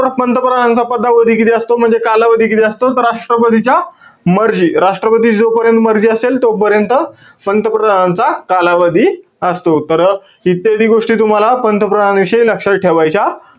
परत पंतप्रधानांचा पदावधी किती असतो? म्हणजे कालावधी किती असतो? राष्ट्रपतीच्या मर्जी, राष्ट्रपतीची जोपर्यंत मर्जी असेल, तोपर्यंत पंतप्रधानांचा कालावधी असतो. तर इत्यादी गोष्टी तुम्हाला पंतप्रधानाविषयी लक्षात ठेवायच्या,